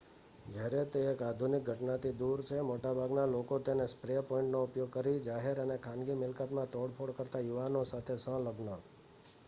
જ્યારે તે એક આધુનિક ઘટનાથી દૂર છે મોટાભાગના લોકો તેને સ્પ્રે પેઇન્ટનો ઉપયોગ કરીને જાહેર અને ખાનગી મિલકતમાં તોડફોડ કરતા યુવાનો સાથે સંલગ્ન